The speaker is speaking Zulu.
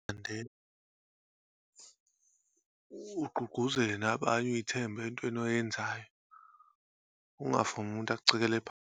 And then, ugqugquzele nabanye uyithembe entweni oyenzayo. Ungavumi umuntu akuceleke phansi.